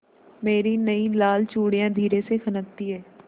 मेरी नयी लाल चूड़ियाँ धीरे से खनकती हैं